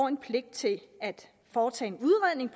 en pligt til at foretage en udredning